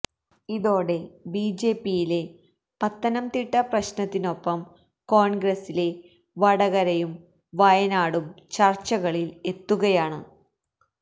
ഇതോടെ ബിജെപിയിലെ പത്തനംതിട്ട പ്രശ്നത്തിനൊപ്പം കോൺഗ്രസിലെ വടകരയും വയനാടും ചർച്ചകളിൽ എത്തുകയാണ്